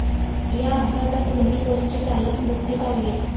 या अपघातात दोन्ही बसचे चालक मृत्यू पावलेत.